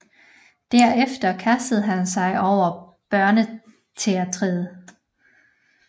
Derefter kastede han sig over børneteatret